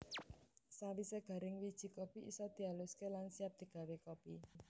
Sawisé garing wiji kopi isa dialuské lan siap digawé kopi